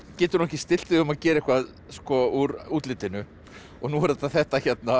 getur ekki stillt þig um að gera eitthvað úr útlitinu og nú er það þetta hérna